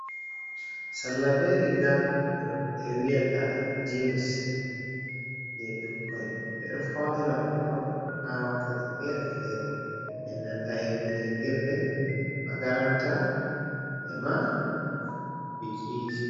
Salla ɓe riga ɗum be wiyata jins, je ɓikkoi. Ɓe ɗo faunira ɓikkon ha wakkati fere fere. E nanta hiyeki jangirɗe, makaranta ema bikiji.